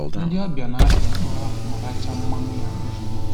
Ndị ọbịa na-apị mkpụrụ akwụ ma rachaa mmanụ ya ozugbo